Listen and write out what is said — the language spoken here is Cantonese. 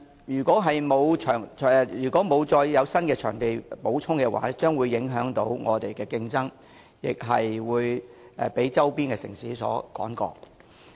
如果再不增加會展場地的話，本港的競爭力將會受到影響，被周邊的城市所超越。